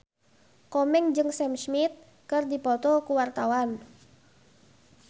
Komeng jeung Sam Smith keur dipoto ku wartawan